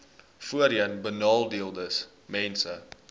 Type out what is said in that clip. voorheenbenadeeldesmense